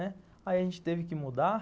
Aí a gente teve que mudar.